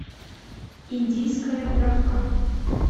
индийская дрофа